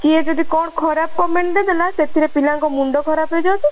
କିଏ ଯଦି କଣ ଖରାପ comment ଦେବେ ନା ସେଥିରେ ପିଲା ଙ୍କ ମୁଣ୍ଡ ଖରାପ ହେଇଯାଉଛି